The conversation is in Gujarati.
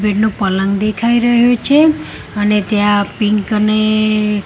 પલંગ દેખાય રહ્યો છે અને ત્યાં પિંક અને--